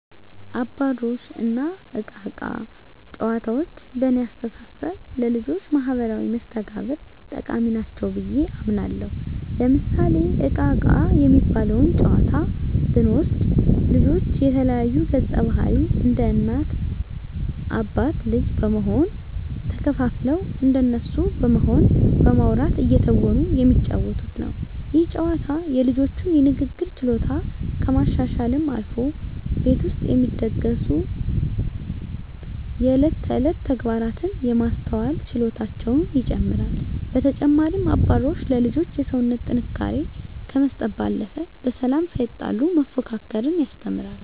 አባሮሽ እና እቃ እቃ ጨዋታዎች በእኔ አስተሳሰብ ለልጆች ማህበራዊ መስተጋብር ጠቃሚ ናቸው ብየ አምናለሁ። ለምሳሌ እቃ እቃ የሚባለውን ጨዋታ ብንወስድ ልጆች የተለያዩ ገፀባህርይ እንደ እናት አባት ልጅ በመሆን ተከፋፍለው እንደነሱ በመሆን በማዉራት እየተወኑ የሚጫወቱት ነው። ይህ ጨዋታ የልጆቹን የንግግር ችሎታ ከማሻሻልም አልፎ ቤት ውስጥ የሚደሰጉ የእለት ተእለት ተግባራትን የማስተዋል ችሎታቸውን ይጨመራል። በተጨማሪም አባሮሽ ለልጆች የሰውነት ጥንካሬ ከመስጠት ባለፈ በሰላም ሳይጣሉ መፎካከርን ያስተምራል።